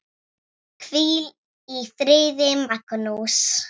Hvíl í friði, Magnús.